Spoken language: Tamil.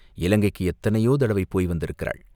இலங்கைக்கு எத்தனையோ தடவை போய் வந்திருக்கிறாள்.